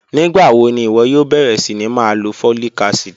Nigbawo ni iwọ yoo bẹrẹ sini ma lo folic acid?